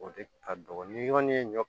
O de ka dɔgɔ ni yɔrɔnin ye ɲɔ